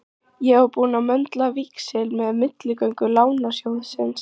Ég var búinn að möndla víxil með milligöngu Lánasjóðsins.